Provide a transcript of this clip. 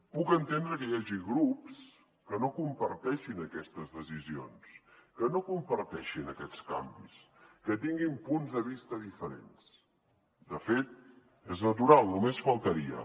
puc entendre que hi hagi grups que no comparteixin aquestes decisions que no comparteixin aquests canvis que tinguin punts de vista diferents de fet és natural només faltaria